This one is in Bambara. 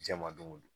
Jɛn ma don o don